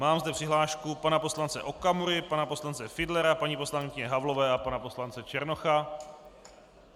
Mám zde přihlášku pana poslance Okamury, pana poslance Fiedlera, paní poslankyně Havlové a pana poslance Černocha.